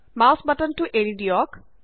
mouse বাটনটো এৰি দিয়ক